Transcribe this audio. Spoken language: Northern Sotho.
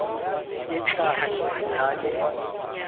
e tla re ka le